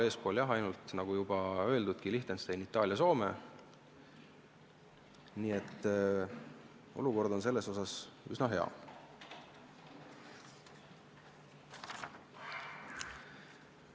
Meist eespool, nagu juba öeldud, on ainult Liechtenstein, Itaalia ja Soome, nii et olukord on selles osas üsna hea.